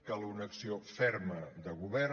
cal una acció ferma de govern